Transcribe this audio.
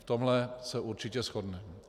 V tomhle se určitě shodneme.